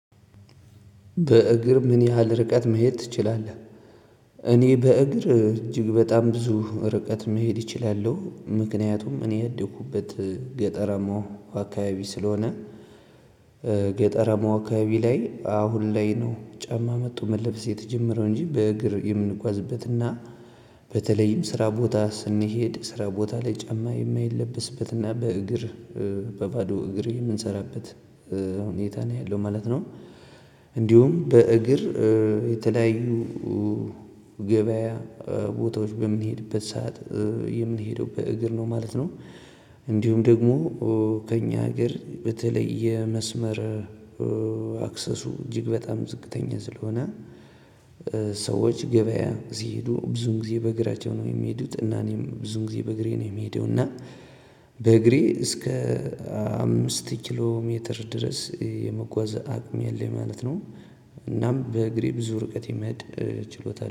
በእግር ምን ያህል ርቀት መሄድ ትችላለህ? እኔ በእግር እጅግ በጣም ብዙ ርቀት መሄድ እችላለሁ ምክንያቱም እኔ ያደኩበት ገጠረማው አካባቢ ስለሆነ። ገጠራማው አካባቢ ላይ አሁን ላይ ነው ጫማ መጡ መለበስ የተጀመረው እንጂ በእግር የምንጓዝበትና በተለይም ስራ ቦታ ስንሄድ ስራ ቦታ ላይ ጨማ የማይለበስበትና በእግር በባዶ እግር የምንሰራበት ሁኔታ ነው ያለው ማለት ነው። እንዲሁም በእግር የተለያዩ ገበያ ቦታዎች በምንሄድበት ሰዓት የምንሄደው በእግር ነው ማለት ነው። እንዲሁም ደግሞ ከእኛ ሀገር በተለየ የመስመር አክሰሱ እጅግ በጣም ዝቅተኛ ስለሆነ። ሰዎች ገበያ ሲሄዱ ብዙን ጊዜ በእግራቸው ነው የሚሄዱት እና እኔም ብዙን ጊዜ በእግሬ ነው የሚሄደው እና በእግሬ እስከ አምስት ኪሎ ሜትር ድረስ የመጓዝ አቅሜ ያለኝ ማለት ነው። እናም በእግሬ ብዙ ርቀት የሚህድ ችሎታ